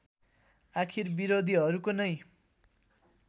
आखिर विरोधिहरूको नै